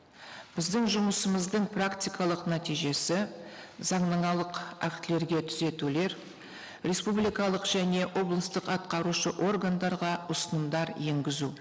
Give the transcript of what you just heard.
біздің жұмысымыздың практикалық нәтижесі заңнамалық актілерге түзетулер республикалық және облыстық атқарушы органдарға ұсынымдар енгізу